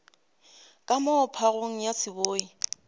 ka moo phagong ya seboi